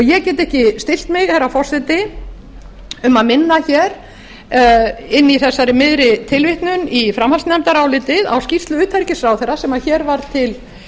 ég get ekki stillt mig herra forseti um að minna inni í þessari miðri tilvitnun í framhaldsnefndarálitið á skýrslu utanríkisráðherra sem hér var til